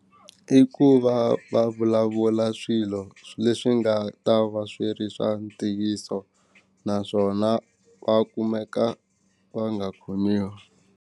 I ku va va vulavula swilo leswi nga ta va swi ri swa ntiyiso naswona va kumeka va nga khomiwi.